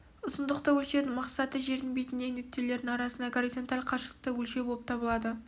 ұзындықты өлшеудің мақсаты жердің бетіндегі нүктелердің арасындағы горизонталь қашықтықты өлшеу болып табылады